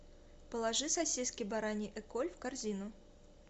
положи сосиски бараньи эколь в корзину